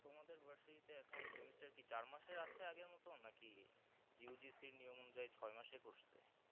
তোমাদের versity তে এখন semester কি চার মাসের আছে আগের মতো নাকি U. G. C. র নিয়ম অনুযায়ী ছয় মাসের করসে